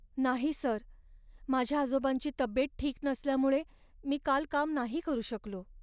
नाही सर, माझ्या आजोबांची तब्येत ठीक नसल्यामुळे मी काल काम नाही करू शकलो.